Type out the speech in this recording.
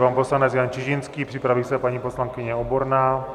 Pan poslanec Jan Čižinský, připraví se paní poslankyně Oborná.